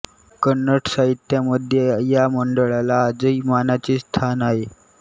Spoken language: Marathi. कन्नड साहित्यामध्ये या मंडळाला आजही मानाचे स्थान आहे